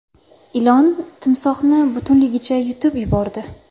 Ilon timsohni butunligicha yutib yubordi .